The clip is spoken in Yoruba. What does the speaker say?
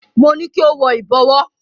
Mo ní kí o wọ ìbọ̀wọ́.